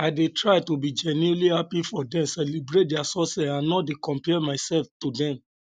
i dey try to be genuinely happy for dem celebrate dia success and no dey compare myself to dem